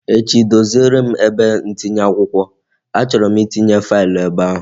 Echi doziere m ebe ntinye akwụkwọ, a chọrọ m itinye faịlụ ebe ahụ